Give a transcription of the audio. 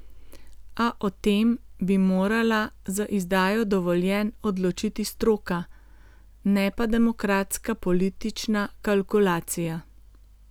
A o tem bi morala z izdajo dovoljenj odločiti stroka, ne pa demokratska politična kalkulacija.